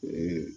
O ye